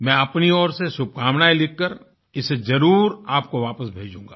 मैं अपनी ओर से शुभकामनायें लिखकर इसे जरुर आपको वापस भेजूंगा